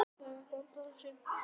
Missir okkar allra er mikill.